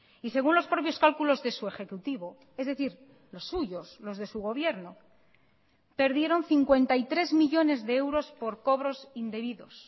y según los propios cálculos de su ejecutivo es decir los suyos los de su gobierno perdieron cincuenta y tres millónes de euros por cobros indebidos